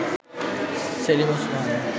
Selim Osman